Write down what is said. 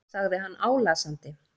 sagði hann álasandi.